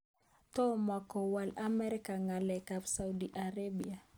Tomokowol Amerika ngalek ab Saudi Arabia.